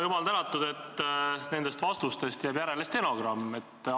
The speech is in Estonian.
Jumal tänatud, et nendest vastustest jääb järele stenogramm!